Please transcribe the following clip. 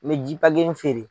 N mi ji feere